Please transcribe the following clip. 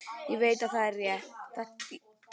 Ég veit að þetta er rétt.